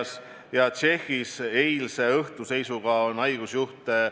On selge, et selliste haiguspuhangute puhul ei saa rääkida, kas meetmed on proportsionaalsed või ei ole proportsionaalsed.